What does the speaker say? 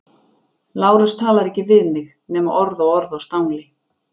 Lárus talar ekki við mig nema orð og orð á stangli.